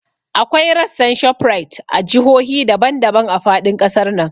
Akwai rassan Shoprite a jihohi daban daban a faɗin ƙasar nan